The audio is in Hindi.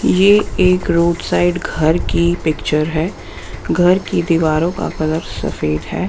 ये एक रोड साइड घर की पिक्चर है घर की दीवारों का कलर सफेद है।